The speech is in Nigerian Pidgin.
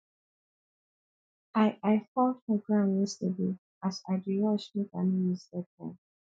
i i fall for ground yesterday as i dey rush make i no miss deadline